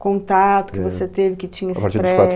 contato que você teve, que tinha esse